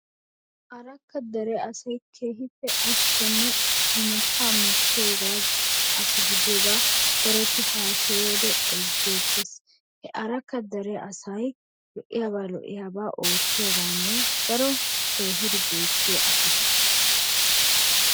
Arakka dere asay keehippe ashshekkene imattaa mookkiyooga asa gidiyoogaa daroti hasayiyoode ezgeettees. He arakka dere asay lo'iyaaba lo"iyaaba oottiyoogan daro keehidi beettiyaa asata.